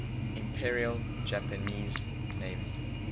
imperial japanese navy